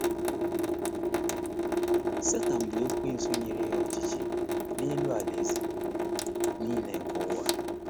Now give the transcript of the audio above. Setan bu Ekwensu nyere ya ọchịchị n’elu “alaeze niile nke ụwa.”